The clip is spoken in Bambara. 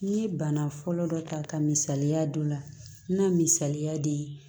N ye bana fɔlɔ dɔ ta ka misaliya d'o la na misaliya de ye